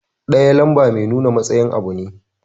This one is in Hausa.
"Ɗaya" lambar mai nuna matsayin abu ne.